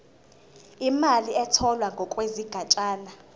imali etholwe ngokwesigatshana